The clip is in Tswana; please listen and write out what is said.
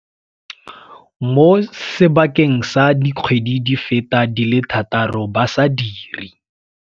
mo sebakeng sa di kgwedi di feta di le thataro ba sa dire.